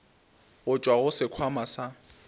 go tšwa go sekhwama sa